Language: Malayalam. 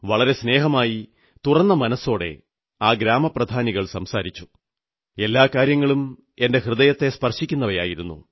വളരെ സ്നേഹമായി തുറന്ന മനസ്സോടെ ആ ഗ്രാമപ്രധാനികൾ സംസാരിച്ചു എല്ലാ കാര്യങ്ങളും എന്റെ ഹൃദയത്തെ സ്പർശിക്കുന്നവയായിരുന്നു